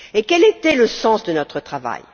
Quel était le sens de notre travail?